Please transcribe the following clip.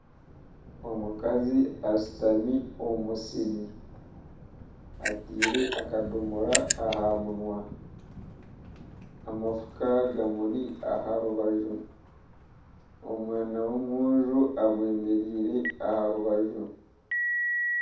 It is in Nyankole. Omukazi ashutami omu musiri, ataire akadomora aha munwa amafuka gamuri aha rubaju omwana w'omwojo amwemereire aha rubaju.